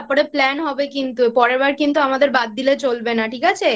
তারপরে Plan হবে কিন্তু পরের বার কিন্তু আমাদের বাদ দিলে চলবে না ঠিক আছে।